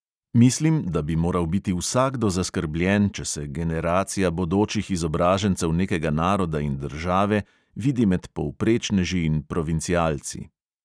Mislim, da bi moral biti vsakdo zaskrbljen, če se generacija bodočih izobražencev nekega naroda in države vidi med povprečneži in provincialci.